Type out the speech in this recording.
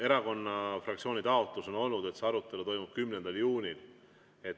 Erakonna fraktsiooni taotlus on olnud, et see arutelu toimub 10. juunil.